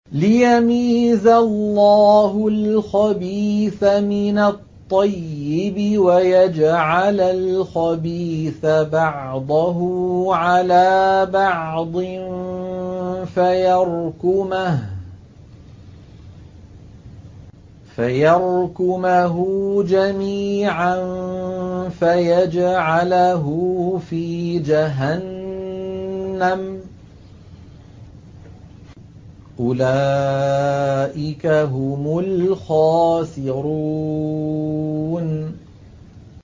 لِيَمِيزَ اللَّهُ الْخَبِيثَ مِنَ الطَّيِّبِ وَيَجْعَلَ الْخَبِيثَ بَعْضَهُ عَلَىٰ بَعْضٍ فَيَرْكُمَهُ جَمِيعًا فَيَجْعَلَهُ فِي جَهَنَّمَ ۚ أُولَٰئِكَ هُمُ الْخَاسِرُونَ